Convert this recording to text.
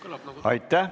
Aitäh!